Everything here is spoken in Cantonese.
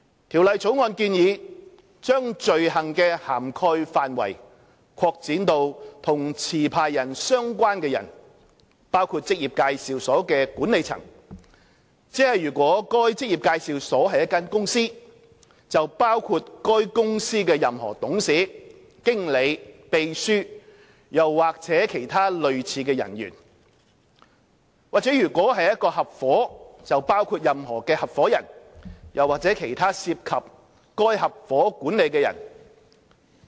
《條例草案》建議把罪行的涵蓋範圍擴展至與持牌人相關的人，包括職業介紹所的管理層，即如該職業介紹所是一間公司，則包括該公司任何董事、經理、秘書或其他類似人員；或如是一個合夥，則包括任何合夥人或其他涉及該合夥管理的人。